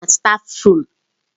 Bịa na stáfruum!